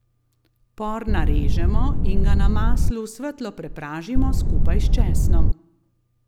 Por narežemo in ga na maslu svetlo prepražimo skupaj s česnom.